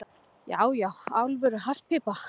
Já, já, alvöru hasspípa.